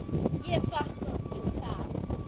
Ég er þakklát fyrir það.